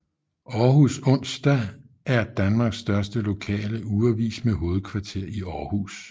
Århus Onsdag er Danmarks største lokale ugeavis med hovedkvarter i Aarhus